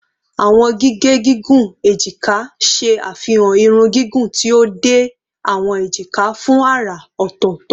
Awọn gige gigun ejika ṣe afihan irun gigun ti o de awọn ejika fun ara ọtọtọ